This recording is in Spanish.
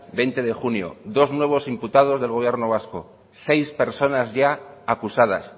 veinte de junio dos nuevos imputados del gobierno vasco seis personas ya acusadas